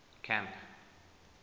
camp